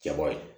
Jabɔ ye